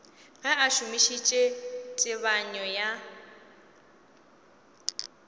ge a šomišitše tebanyo ya